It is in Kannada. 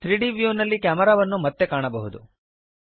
3ದ್ ವ್ಯೂನಲ್ಲಿ ಕ್ಯಾಮೆರಾವನ್ನು ಮತ್ತೆ ಕಾಣಬಹುದು